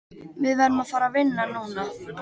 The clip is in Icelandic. Við verðum að fara vinna núna.